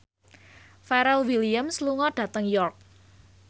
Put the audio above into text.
Pharrell Williams lunga dhateng York